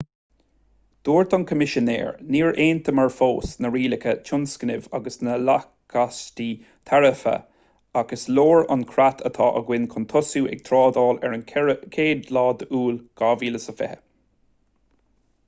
dúirt an coimisinéir níor aontaíomar fós na rialacha tionscnaimh agus na lacáistí taraife ach is leor an creat atá againn chun tosú ag trádáil ar an 1 iúil 2020